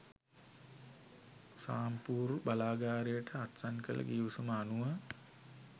සාම්පූර් බලාගාරයට අත්සන් කළ ගිවිසුම අනුව